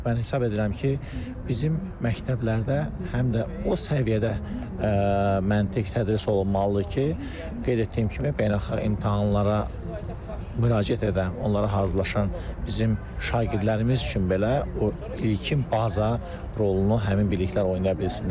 Mən hesab edirəm ki, bizim məktəblərdə həm də o səviyyədə məntiq tədris olunmalıdır ki, qeyd etdiyim kimi beynəlxalq imtahanlara müraciət edən, onlara hazırlaşan bizim şagirdlərimiz üçün belə ilkin baza rolunu həmin biliklər oynaya bilsinlər.